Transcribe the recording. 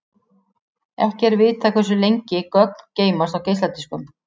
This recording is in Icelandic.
Ekki er vitað hversu lengi gögn geymast á geisladiskum.